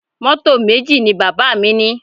Mọ́tò méjì ni bàbá mi ní?